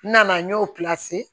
N nana n y'o